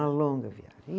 A longa viagem.